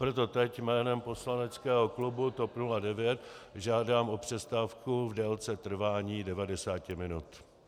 Proto teď jménem poslaneckého klubu TOP 09 žádám o přestávku v délce trvání 90 minut.